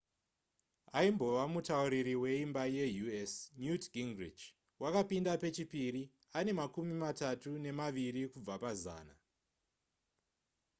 aimbova mutauriri weimba yeus newt gingrich wakapinda pechipiri ane makumi matatu nemaviri kubva pazana